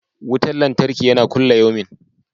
Wutan lantarkin yana kulayomi.